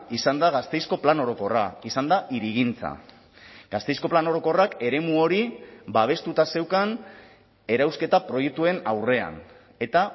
izan da gasteizko plan orokorra izan da hirigintza gasteizko plan orokorrak eremu hori babestuta zeukan erauzketa proiektuen aurrean eta